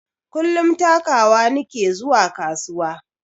Kullum takawa nike zuwa kasuwa